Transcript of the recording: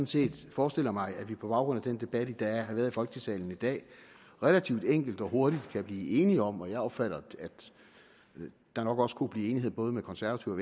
set forestiller mig at vi på baggrund af den debat der har været i folketingssalen i dag relativt enkelt og hurtigt kan blive enige om og jeg opfatter at der nok også kunne blive enighed både med konservative